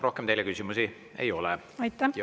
Rohkem teile küsimusi ei ole.